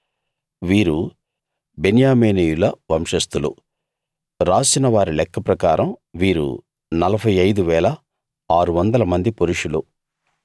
వీరు బెన్యామీనీయుల వంశస్థులు రాసిన వారి లెక్క ప్రకారం వీరు 45 600 మంది పురుషులు